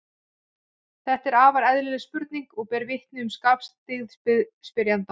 Þetta er afar eðlileg spurning og ber vitni um skarpskyggni spyrjanda.